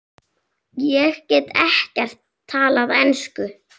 Ég get ekkert talað ensku.